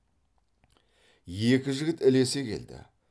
екі жігіт ілесе келді